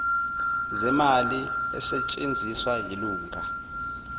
zemali esetshenzisiwe yilunga